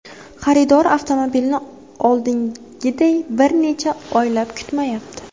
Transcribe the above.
Xaridor avtomobilni oldingiday bir necha oylab kutmayapti.